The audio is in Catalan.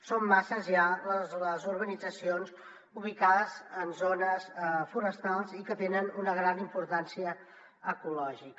són masses ja les urbanitzacions ubicades en zones forestals i que tenen una gran importància ecològica